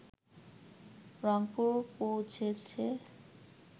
রংপুর পৌঁছেছে